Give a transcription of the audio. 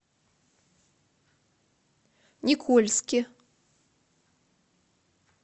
никольске